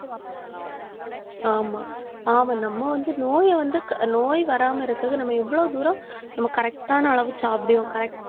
ஆமா, ஆமா நம்ம வந்து நோயை வந்து நோய் வராம இருக்கிறது நம்ம எவ்வளவு தூரம் நம்ம correct ஆன அளவு சாப்பிடுவோம் correct